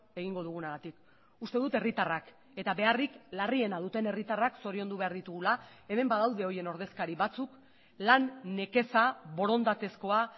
egingo dugunagatik uste dut herritarrak eta beharrik larriena duten herritarrak zoriondu behar ditugula hemen badaude horien ordezkari batzuk lan nekeza borondatezkoa